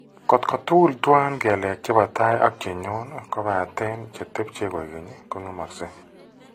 Kot tugul tuwan kelek che po tai ak che ny'on kobaaten che tepche koekeny' ko ng'emakse.